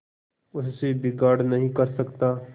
उससे बिगाड़ नहीं कर सकता